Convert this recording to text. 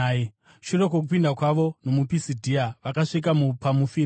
Shure kwokupinda kwavo nomuPisidhia, vakasvika muPamufiria,